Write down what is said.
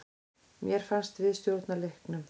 Mér fannst við stjórna leiknum.